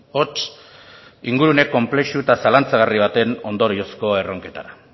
hots ingurune konplexu eta zalantzagarri baten ondoriozko erronketara